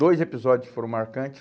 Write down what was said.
Dois episódios foram marcantes.